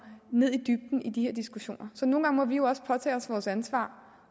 i de her diskussioner så nogle gange må vi jo også påtage os vores ansvar